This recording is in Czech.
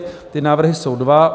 Ty návrhy jsou dva: